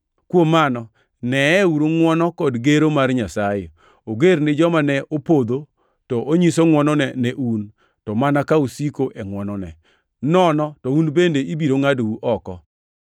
Kuom mano, neye ngʼwono kod gero mar Nyasaye: oger gi joma ne opodho, to onyiso ngʼwonone ne un, to mana ka usiko e ngʼwonone; nono to un bende ibiro ngʼadou oko.